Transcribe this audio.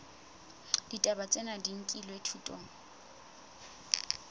ditaba tsena di nkilwe thutong